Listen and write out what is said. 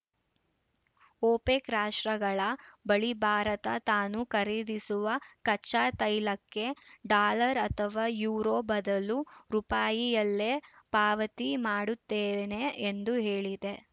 OPEC ರಾಷ್ಟ್ರಗಳ ಬಳಿ ಭಾರತ ತಾನು ಖರೀದಿಸುವ ಕಚ್ಚಾತೈಲಕ್ಕೆ ಡಾಲರ್‌ ಅಥವಾ ಯುರೋ ಬದಲು ರುಪಾಯಿಯಲ್ಲೇ ಪಾವತಿ ಮಾಡುತ್ತೇನೆ ಎಂದು ಹೇಳಿದೆ